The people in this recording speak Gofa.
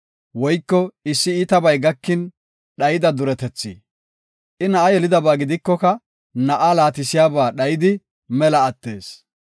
woyko issi iitabay gakin dhayida duretethi. I na7a yelidaba gidikoka na7aa laatisiyaba dhayidi mela attees.